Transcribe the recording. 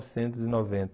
e noventa.